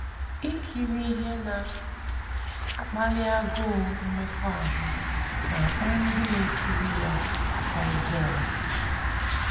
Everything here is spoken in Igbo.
Ikiri ihe na - akpali agụụ mmekọahụ na - akpa ndị na - ekiri ya aka ọjọọ.